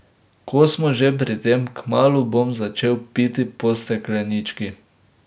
Ko smo že pri tem, kmalu bom začel piti po steklenički.